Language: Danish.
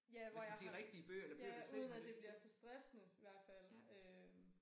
Ja hvor jeg har ja uden at det bliver for stressende i hvert fald øh